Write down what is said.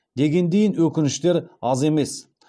дегендейін өкініштер аз емес